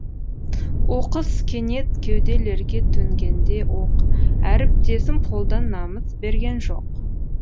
оқыс кенет кеуделерге төнгенде оқ әріптесім қолдан намыс берген жоқ